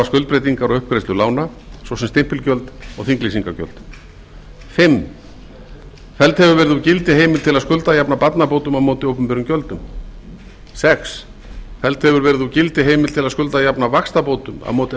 skuldbreytingar á uppgreiðslu lána svo sem stimpilgjöld og þinglýsingargjöld fimmta felld hefur verið úr gildi heimild til að skuldajafna barnabótum á móti opinberum gjöldum sjötta felld hefur verið úr gildi heimild til að skuldajafna vaxtabótum á móti